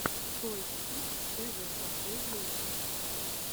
тойс кидс тэ вэ последняя часть